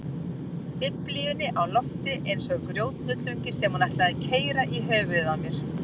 Biblíunni á lofti eins og grjóthnullungi sem hún ætlaði að keyra í höfuðið á mér.